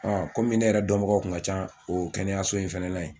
komi ne yɛrɛ dɔnbagaw kun ka ca o kɛnɛyaso in fɛnɛ na yen